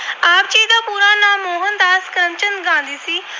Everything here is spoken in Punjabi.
ਚੰਦ ਗਾਂਧੀ ਸੀ।